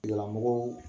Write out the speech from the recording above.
Tigilamɔgɔw